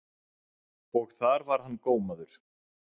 Og þar var hann gómaður.